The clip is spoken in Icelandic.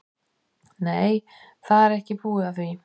Nei, það er ekki búið að því.